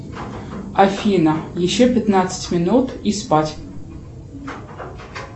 афина еще пятнадцать минут и спать